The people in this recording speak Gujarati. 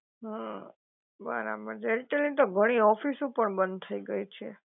હા બરાબર છે, એરટેલ ની તો ઘણી ઓફિસો પણ બંધ થઈ ગઈ છે.